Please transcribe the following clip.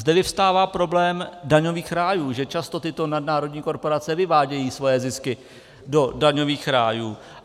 Zde vyvstává problém daňových rájů, že často tyto nadnárodní korporace vyvádějí svoje zisky do daňových rájů.